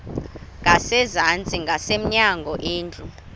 ngasezantsi ngasemnyango indlu